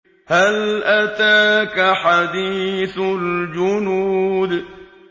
هَلْ أَتَاكَ حَدِيثُ الْجُنُودِ